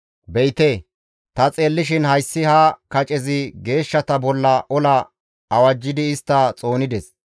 Be7ite ta xeellishin hayssi ha kacezi geeshshata bolla ola awajjidi istta xoonides.